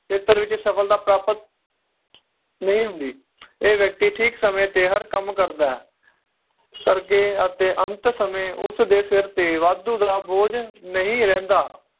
ਖੇਤਰ ਵਿਚ ਸਫਲਤਾ ਪ੍ਰਾਪਤ ਨਹੀਂ ਹੁੰਦੀ ਇਹ ਵ੍ਯਕ੍ਤਿ ਠੀਕ ਸਮੇ ਤੇ ਹਰ ਕੰਮ ਕਰਦਾ ਏ ਕਰਕੇ ਅਤੇ ਅੰਤ ਸਮੇ ਉਸ ਦੇ ਸਿਰ ਤੇ ਵਾਦੁ ਦਾ ਬੋਝ ਨਹੀਂ ਰਹਿੰਦਾ